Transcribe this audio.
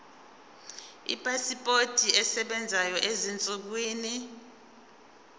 ipasipoti esebenzayo ezinsukwini